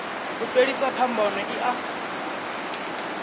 u fhelisa phambano i a